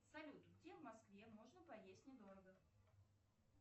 салют где в москве можно поесть недорого